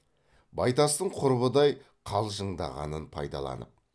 байтастың құрбыдай қалжыңдағанын пайдаланып